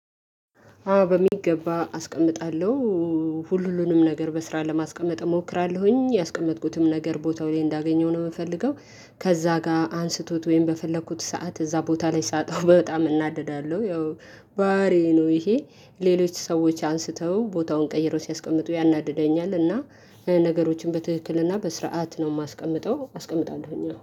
አዎ በሚገባ አስቀምጣለሁ ሁሉንም ነገር በስራት ለማስቀመጥ እሞክራለሁኝ ያስቀመጥኩትም ነገር ቦታው ላይ እንዳገኘው ነው እምፈልገው። ከዛ ጋር አንስቶት ወይም በፈለኩት ሰዓት እዛ ቦታ ላይ ሳጣው በጣም እናደዳለሁ። ያው ባህሬዬ ነው ይሄ ሌሎች ሰዎች አንስተው ቦታውን ቀይረው ሲያስቀምጡ ያናድደኛል። እና ነገሮችን በትክክል እና በስርዓት ነው እማስቀምጠው አስቀምጣለሁኝ